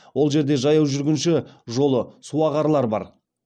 ол жерде жаяу жүргінші жолы су ағарлары бар